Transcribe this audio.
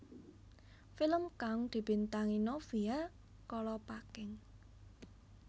Film kang dibintangi Novia Kolopaking